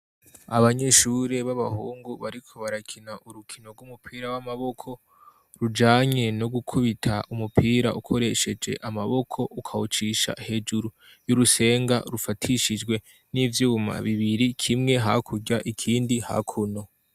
Abanyeshuri babahungu bariko barakina urukino rw'umupira w'amaboko rujanye no gukubita umupira ukoresheje amaboko ukawucisha hejuru y'urusenga rufatishijwe n'ivyuma bibiri kimwe hakurya ikindi hakuno.